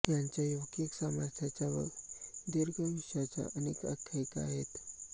यांच्या योगिक सामर्थ्याच्या व दीर्घायुष्याच्या अनेक आख्यायिका आहेत